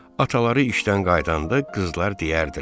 Ataları işdən qayıdanda qızlar deyərdilər.